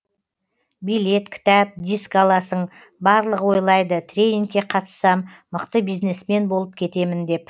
билет кітап диск аласың барлығы ойлайды тренингке қатыссам мықты бизнесмен болып кетемін деп